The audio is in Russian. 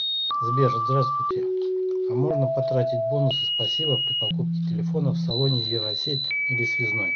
сбер здравствуйте а можно потратить бонусы спасибо при покупке телефона в салоне евросеть или связной